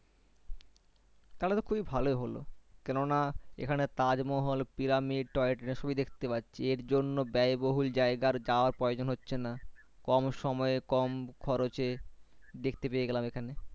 তাহলে তো খুবই ভালোই হল কেননা এখানে তাজমহল Pyramidtoy-train সবই দেখতে পারছি এর জন্যে ব্যায়বহুল জায়গা যাওয়ার প্রয়োজন হচ্ছে না কম সময়ে কম খরচে দেখতে পেয়ে গেলাম এখানে।